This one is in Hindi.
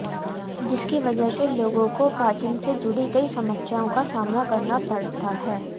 जिसकी वजह से लोगों को पाचन से जुड़ी कई समस्याओं का सामना करना पड़ता है